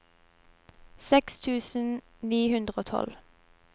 seks tusen ni hundre og tolv